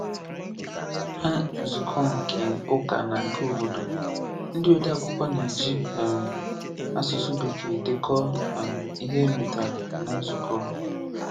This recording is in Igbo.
Ná nzukọ nke ụka na nke obodo, ndị odeakwụkwọ na-eji um asụsụ Bekee dekọ um ihe e metara ná nzukọ.